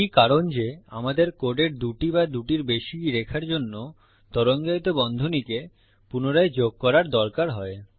এটি কারণ যে আমাদের কোডের দুটি বা দুটির বেশি রেখার জন্য তরঙ্গায়িত বন্ধনীকে পুনরায় যোগ করার দরকার হয়